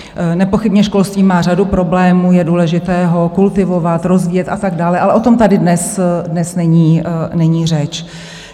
Nepochybně školství má řadu problémů, je důležité ho kultivovat, rozvíjet a tak dále, ale o tom tady dnes není řeč.